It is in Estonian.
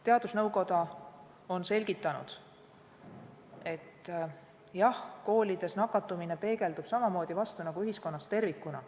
Teadusnõukoda on selgitanud, et jah, koolidest peegeldub nakatumine samamoodi vastu nagu ühiskonnast tervikuna.